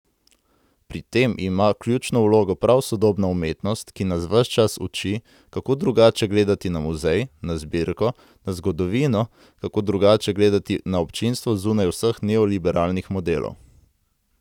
Pri tem ima ključno vlogo prav sodobna umetnost, ki nas ves čas uči, kako drugače gledati na muzej, na zbirko, zgodovino, kako drugače gledati na občinstvo zunaj vseh neoliberalnih modelov.